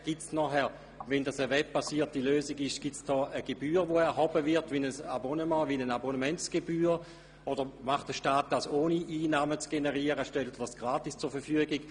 Wenn es eine webbasierte Lösung gäbe, würde dann eine Gebühr erhoben, beispielsweise in Form eines Abonnements, oder bietet der Staat dies an, ohne Einnahmen zu generieren und stellt es gratis zur Verfügung?